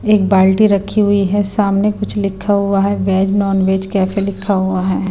एक बाल्टी रखी हुई है सामने कुछ लिखा हुआ है वेज नॉन-वेज कैफे लिखा हुआ है।